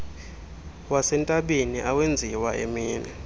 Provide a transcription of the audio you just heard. wasentabeni awenziwa emini